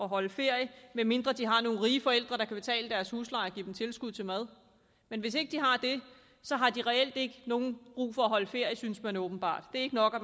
holde ferie medmindre de har nogle rige forældre der kan betale deres husleje og give dem tilskud til mad hvis de ikke har det har de reelt ikke nogen brug for at holde ferie synes man åbenbart det er ikke nok at